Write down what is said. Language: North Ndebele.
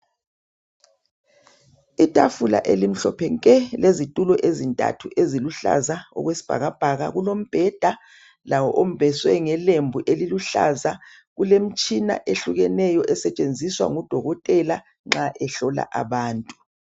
Itafula elimhlophe nke, lezitulo ezintathu eziluhlaza okwesibhakabhaka kulombheda lawo ombeswe ngelembu eliluhlaza, kulemitshina ehlukeneyo esetshenziswa ngudokotela nxa ehlola abantu.